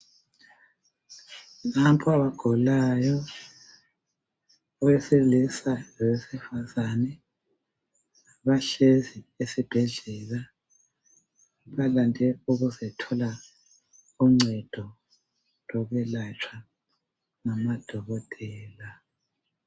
napha abagulayo owesilisa lowesifazane bahlezi esibhedlela balande ukuzothola uncedo lokwelatsha ngamadokotela